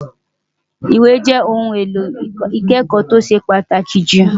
Ìwé jẹ́ ohun èlò ìkẹ́kọ̀ọ́ tó ṣe pàtàkì jù.